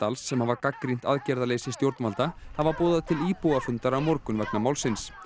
sem hafa gagnrýnt aðgerðaleysi stjórnvalda hafa boðað til íbúafundar á morgun vegna málsins